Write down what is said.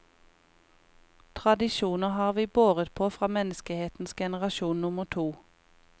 Tradisjoner har vi båret på fra menneskehetens generasjon nummer to.